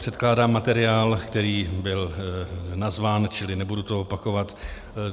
Předkládám materiál, který byl nazván - čili nebudu to opakovat.